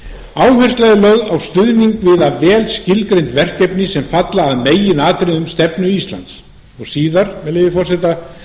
áhersla er lögð á stuðning við vel skilgreind verkefni sem falla að meginatriðum í stefnu íslands og síðar með leyfi forseta